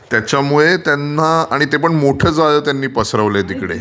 त्याच्यामुळे त्यांना आणि ते पण मोठं जाळं पसरवलं आहे तिथे.